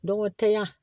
Don o tanya